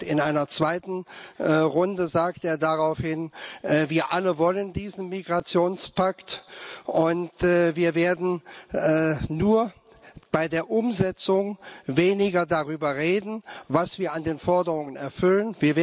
In einer zweiten Runde sagte er daraufhin Wir alle wollen diesen Migrationspakt, und wir werden nur bei der Umsetzung weniger darüber reden, was wir an den Forderungen erfüllen.